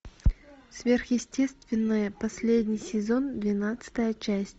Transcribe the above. сверхъестественное последний сезон двенадцатая часть